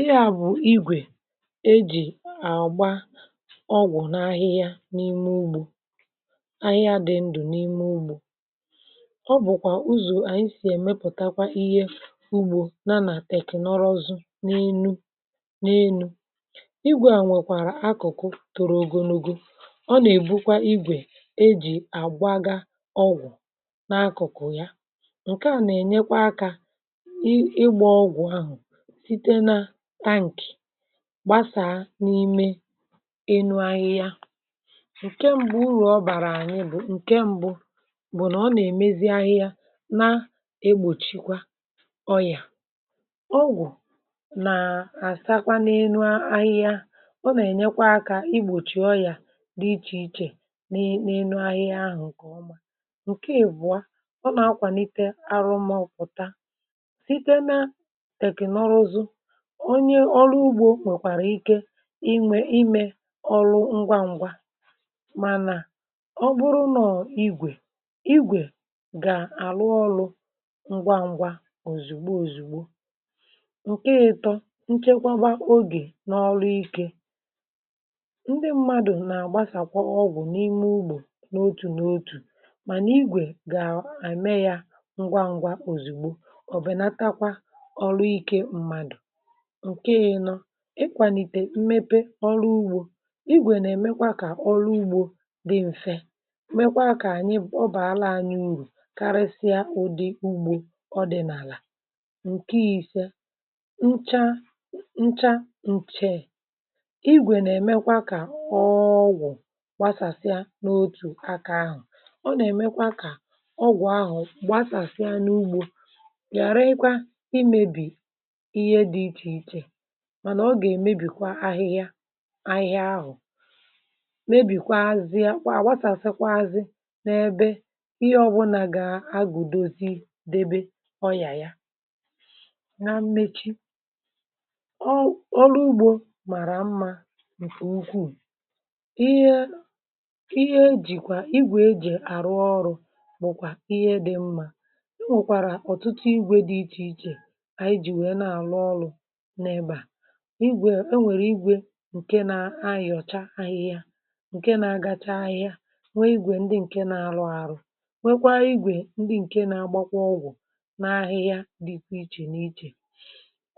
ihe à bụ̀ igwè e jì àgba ọgwụ̀ n’ahịhịa n’ime ugbȯ ahịhịa dị ndụ̀ n’ime ugbȯ ọ bụ̀kwà uzò ànyị sì èmepụ̀takwa ihe ugbȯ n’anà teknọzụ n’enu n’enu igwė à nwèkwàrà akụ̀kụ toro ogonogo ọ nà-èbukwa igwè e jì àgbaga ọgwụ̀ n’akụ̀kụ̀ ya ǹke à nà-ènyekwa akȧ ị ịgbȧ ọgwụ̀ ahụ̀ gbasà n’ime enu ahịhịa ǹke m̀bụ ụrọ̀ ọ bàrà ànyị bụ̀ ǹke m̀bụ bụ nà ọ nà-èmeziedị ahịhịa na-egbòchikwa ọyà ọgwụ̀ nà-àsakwa n’enu ahịhịa ọ nà-ènyekwa akȧ igbòchì ọyà dị ichè ichè n’enu ahịhịa ahụ̀ ǹkè ọma ǹke èbụ̀a ọ nà-akwànite arụmọ̇ pụ̀ta site nà tèknọrụzụ i nwė imė ọrụ ngwa ngwa mànà ọ bụrụ nọ̀ igwè igwè gà-àrụ ọrụ̇ ngwa ngwa òzùgbo òzùgbo ǹke ịtọ̇ nchekwagba ogè n’ọrụ ikė ndị mmadụ̀ nà-àgbasàkwa ọgwụ̇ n’ime ugbȯ n’otù n’otù mànà igwè gà-àme ya ngwa ngwa òzùgbo ọ̀bẹ̀nàtakwa ọrụ ike mmadụ̀ ikwànìtè mmepe ọlụugbȯ igwè nà-èmekwa kà ọlụugbȯ dị m̀fe mekwa kà a nye ọ bụ̀ àlà anyị urù karịsịa ụdị̇ ugbȯ ọdị̀ n’àlà ǹkè isė nchaa nchaa ncheè igwè nà-èmekwa kà ọọ ọgwụ̀ gbasàsịa n’otù aka ahụ̀ ọ nà-èmekwa kà ọọ ọgwụ̀ ahù gbasàsịa n’ugbȯ ghàre ikwa imėbì ihe dị ichè ichè mànà ọ gà-èmebìkwa ahịhịa ahịhịa ahụ̀ mebìkwa azịa kwà àgwatàsị kwazị n’ebe ihe ọbụnà gà-agùdozi debe ọyà ya na mmechi ọ ọrụ ugbȯ màrà mmȧ ǹkè ukwuu ihe ihe ejìkwà igwè e jì àrụ ọrụ̇ bụ̀kwà ihe dị mmȧ e nwèkwàrà ọ̀tụtụ igwė dị ichè ichè ànyị jì wèe na àrụ ọlụ̇ igwè e nwèrè igwè ǹke na-ayọ̀cha ahịhịa ǹke na-agacha ahịa nwee igwè ndị ǹke na-alụ alụ nwekwaa igwè ndị ǹke na-agbàkwa ọgwụ̀ n’ahịhịa dịkwa ichè n’ichè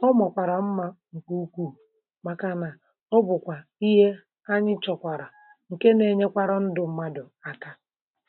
ọ màkwàrà mmȧ ǹkè ukwuu màkànà ọ bụ̀kwà ihe anyị chọ̀kwàrà ǹke na-enyekwara ndụ̇ mmadụ̀ àkà.